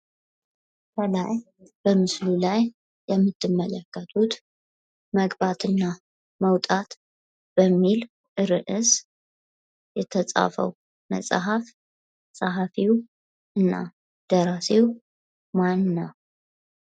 ምስሉ ላይ የምንመለከተው መግባትና መውጣት የሚለውን መፅሀፍ የፃፈው ደራሲው ምንው?